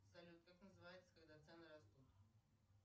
салют как называется когда цены растут